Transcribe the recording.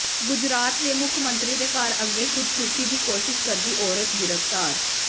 ਗੁਜਰਾਤ ਦੇ ਮੁੱਖ ਮੰਤਰੀ ਦੇ ਘਰ ਅੱਗੇ ਖ਼ੁਦਕੁਸ਼ੀ ਦੀ ਕੋਸ਼ਿਸ਼ ਕਰਦੀ ਔਰਤ ਗ੍ਰਿਫ਼ਤਾਰ